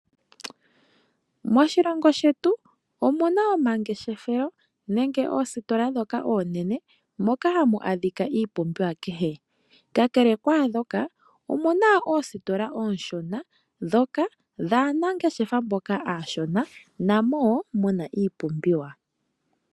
Moshilongo shetu omuna omangeshefelo nenge oositola ndhoka oonene moka hamu adhika iipumbiwa kehe. Kakele kwaandhoka omuna oositola oonshona ndhoka dhaanangeshefa mboka aashona namo wo muna iipumbiwa.